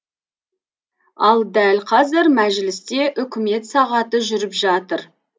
ал дәл қазір мәжілісте үкімет сағаты жүріп жатыр